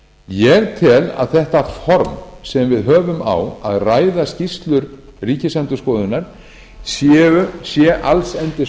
ég tel að þetta form sem við höfum á að ræða skýrslur ríkisendurskoðunar sé allsendis